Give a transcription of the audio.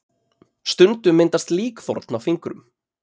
Stundum myndast líkþorn á fingrum.